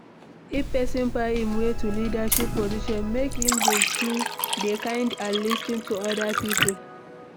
If person find im way to leadership position make im dey kind and lis ten to oda people